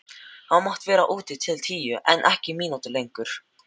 Þú mátt vera úti til tíu en ekki mínútu lengur.